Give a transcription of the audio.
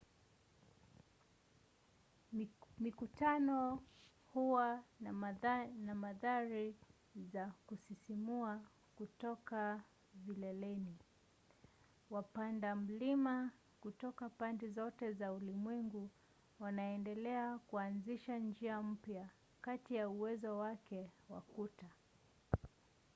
mikutano huwa na mandhari za kusisimua kutoka vileleni. wapanda mlima kutoka pande zote za ulimwengu wanaendelea kuanzisha njia mpya kati ya uwezo wake wa kuta